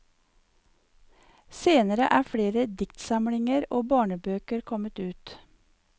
Senere er flere diktsamlinger og barnebøker kommet ut.